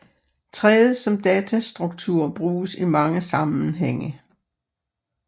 Træet som datastruktur bruges i mange sammenhænge